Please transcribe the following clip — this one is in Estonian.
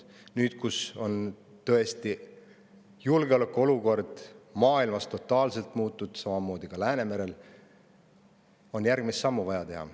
Nüüd, kui tõesti julgeolekuolukord on totaalselt muutunud maailmas ja ka Läänemerel, on vaja astuda järgmine samm.